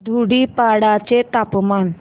धुडीपाडा चे तापमान